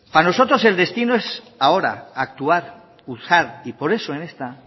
para nosotros el destino es ahora actuar y por eso en esta